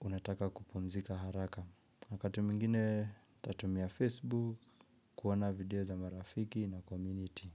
unataka kupumzika haraka. Wakati mwingine tatumia Facebook kuona video za marafiki na community.